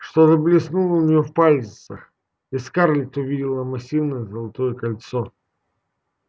что-то блеснуло у нее в пальцах и скарлетт увидела массивное золотое кольцо